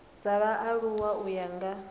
dza vhaaluwa u ya nga